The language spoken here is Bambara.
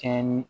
Kɛɲɛ ni